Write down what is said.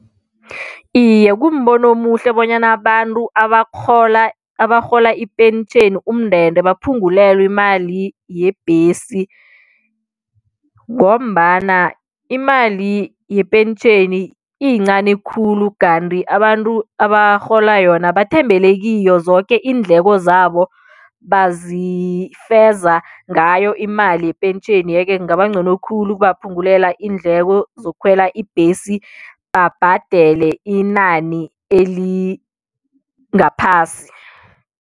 Iye kumbono omuhle bonyana abantu abakghola abarhola ipentjheni umndende baphungulelwe imali yebhesi ngombana imali yepentjheni iyincani khulu kanti abantu abarhola yona bathembele kiyo, zoke iindleko zabo bazifeza ngayo imali yepentjheni yeke kungaba ncono khulu ukubaphungulela iindleko zokukhwela ibhesi babhadele inani elingaphasi.